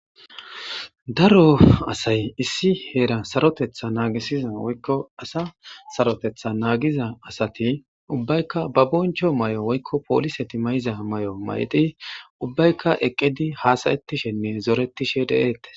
Daro asay issi heera sarotetha naagisiza woykko asa sarotetha naagiza asati ubbaykka ba boncho may'o woykko poolise timayiza may'o mayti ubbayka eqqedi haasayetishenne zoretishe de'eettes.